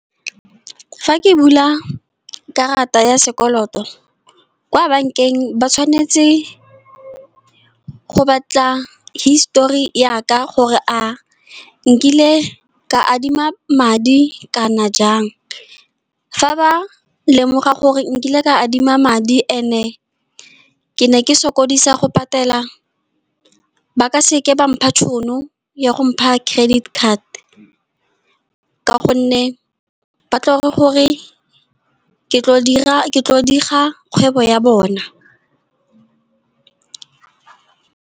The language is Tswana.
Fa ke bula karata ya sekoloto kwa bank-eng ba tshwanetse go batla histori yaka gore a nkile ka adima madi kana jang. Fa ba lemoga gore nkile ka adima madi and-e ke ne ke sokodisa go patela, ba ka seke ba mpha tšhono ya go mpha credit card, ka gonne ba tlo re gore ke tlo diga kgwebo ya bona.